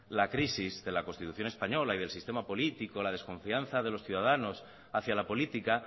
la crisis de la constitución española y del sistema político la desconfianza de los ciudadanos hacia la política